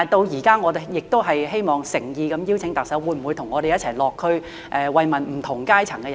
現在我亦希望誠意邀請特首，可否與我們一起落區慰問不同階層的人士？